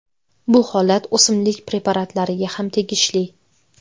Bu holat o‘simlik preparatlariga ham tegishli.